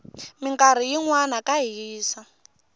minkarhi yinwana ka hisa